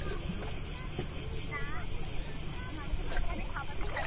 না না সেরকম কিছু না আমি তো দোকানে খাবার ই খাচ্ছি